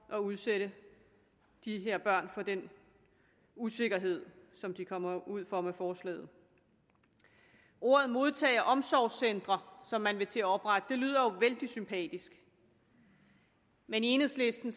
og udsætte de her børn for den usikkerhed som de kommer ud for med forslaget ordet modtage og omsorgscentre som man vil til at oprette lyder jo vældig sympatisk men i enhedslisten